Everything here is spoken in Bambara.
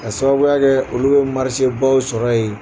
Ka sababuya kɛ olu bɛ baw sɔrɔ ye